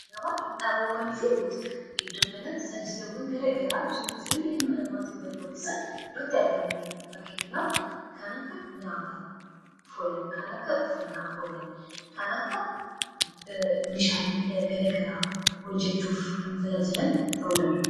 gaba qinxaaboowwan fi butik iddoo kanatti tajaajilawwan garagaraaf jiruuf jireenyi ilmaan namaaf barbaachisan iddoo itti argannuudha fakkeenyaaf kan akka nyaataaf oolan kan akka uffannaaf oolan kan akka meeshalee garagaraaf hojjechuuf nu tajaajilan ta'uu danda'u